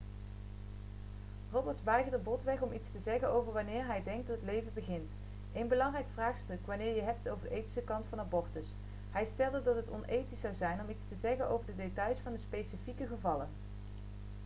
roberts weigerde botweg om iets te zeggen over wanneer hij denkt dat het leven begint een belangrijk vraagstuk wanneer je het hebt over de ethische kant van abortus hij stelde dat het onethisch zou zijn om iets te zeggen over de details van specifieke gevallen